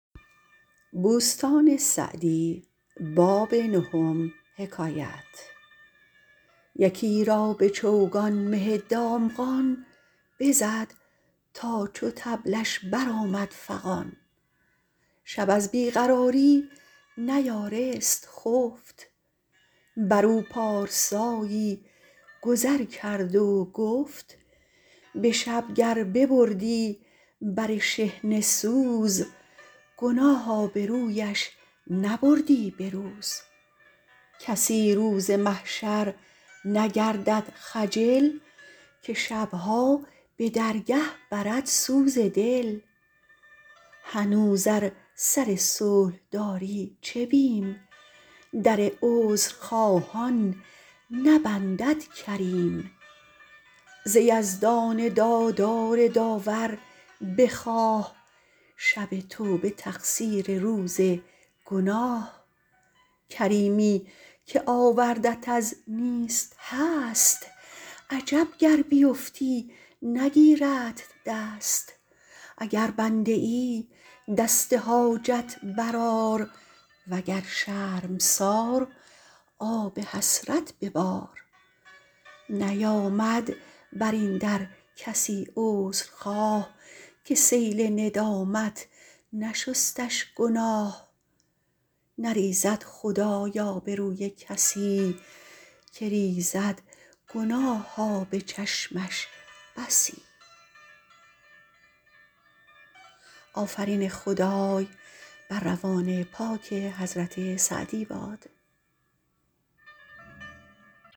یکی را به چوگان مه دامغان بزد تا چو طبلش بر آمد فغان شب از بی قراری نیارست خفت بر او پارسایی گذر کرد و گفت به شب گر ببردی بر شحنه سوز گناه آبرویش نبردی به روز کسی روز محشر نگردد خجل که شبها به درگه برد سوز دل هنوز ار سر صلح داری چه بیم در عذرخواهان نبندد کریم ز یزدان دادار داور بخواه شب توبه تقصیر روز گناه کریمی که آوردت از نیست هست عجب گر بیفتی نگیردت دست اگر بنده ای دست حاجت بر آر و گر شرمسار آب حسرت ببار نیامد بر این در کسی عذر خواه که سیل ندامت نشستش گناه نریزد خدای آبروی کسی که ریزد گناه آب چشمش بسی